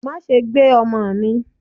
ma sé gbé omò mi!